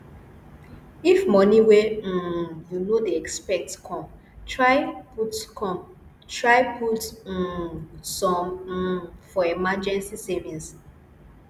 if money wey um you no dey expect come try put come try put um some um for emergency savings